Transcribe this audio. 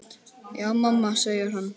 Já mamma, segir hann.